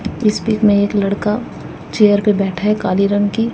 इस पिक में एक लड़का चेयर पे बैठा है काले रंग की।